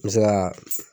N bɛ se ka